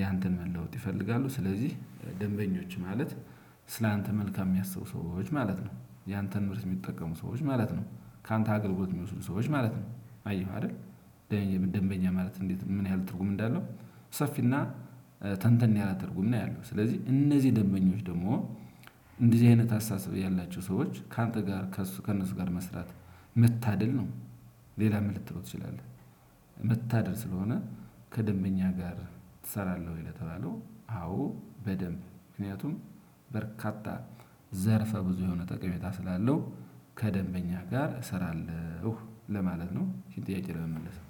ያንተን መለወጥ ይፈልጋሉ ስለዚህ ደንበኞች ማለት ስላንተ መልካም የሚያስቡ ሰዎች ማለት ነው ያንተን ምርት የሚጠቀሙ ሰዎች ማለት ነው። ካንተ አገልግሎት የሚወስዱ ሰዎች ማለት ነው። አየህ አይደል? ደንበኛ ማለት እንዴት ምን ያህል ትርጉም እንዳለው ሰፊና ተንተን ያላተርጉም ነው። ያለው ስለዚህ እነዚህ ደንበኞች ደግሞ እንደዚህ አይነት አስተሳሰብ ያላችሁ ሰዎች ካንተ ጋር ከእነሱ ጋር መስራት መታደል ነው። ሌላም ልትለው ትችላለህ። መታደል ስለሆነ ከደንበኛ ጋር ትሰራለህ ወይ? ለተባለው አዎ በደንብ ምክንያቱም በርካታ ዘርፈ ብዙ የሆነ ጠቀሜታ ስላለው ከደንበኛ ጋር እሰራለሁ ለማለት ነው። ኢችን ጥያቄ ለመመለስ ነው።